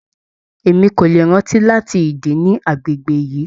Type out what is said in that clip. Emi ko le rántí láti ìdí nì agbègbè yìí.